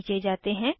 नीचे जाते हैं